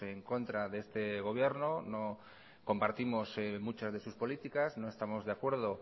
en contra de este gobierno no compartimos muchas de sus políticas no estamos de acuerdo